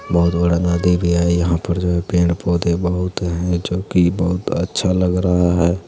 बहुत बड़ा नदी भी है यहाँ पर जो है पेड़-पौधे बहुत हैं जो की बहुत अच्छा लग रहा है।